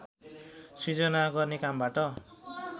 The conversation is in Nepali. सृजना गर्ने कामबाट